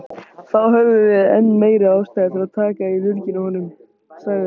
Þá höfum við enn meiri ástæðu til að taka í lurginn á honum, sagði